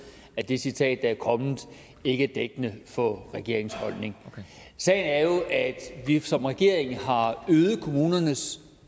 at det citat der er kommet ikke er dækkende for regeringens holdning sagen er jo at vi som regering har øget kommunernes